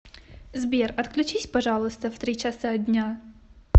сбер отключись пожалуйста в три часа дня